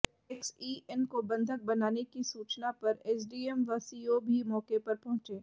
XEN को बंधक बनाने की सूचना पर एसडीएम व सीओ भी मौके पर पहुंचे